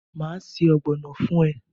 Maa se ogbono fun e